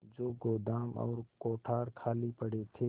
जो गोदाम और कोठार खाली पड़े थे